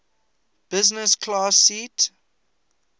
business class seat